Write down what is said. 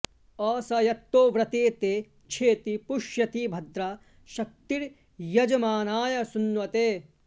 असं॑यत्तो व्र॒ते ते॑ क्षेति॒ पुष्य॑ति भ॒द्रा श॒क्तिर्यज॑मानाय सुन्व॒ते